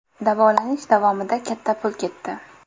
Davolanish davomida katta pul ketdi.